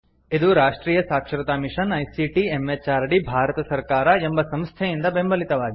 ಇದು ರಾಷ್ಟ್ರಿಯ ಸಾಕ್ಷರತಾ ಮಿಷನ್ ಐಸಿಟಿ ಎಂಎಚಆರ್ಡಿ ಭಾರತ ಸರ್ಕಾರ ಎಂಬ ಸಂಸ್ಥೆಯಿಂದ ಬೆಂಬಲಿತವಾಗಿದೆ